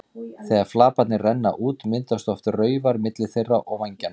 Þegar flaparnir renna út myndast oft raufar milli þeirra og vængjanna.